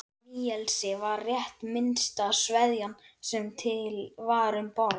Níelsi var rétt minnsta sveðjan sem til var um borð.